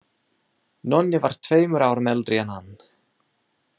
Nonni var tveimur árum eldri en hann.